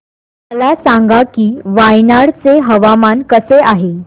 मला सांगा की वायनाड चे हवामान कसे आहे